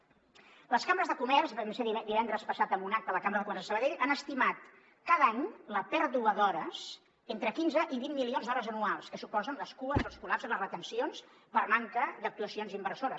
les cambres de comerç vam ser divendres passat en un acte a la cambra de comerç de sabadell han estimat cada any la pèrdua d’hores entre quinze i vint milions d’hores anuals que suposen les cues els col·lapses les retencions per manca d’actuacions inversores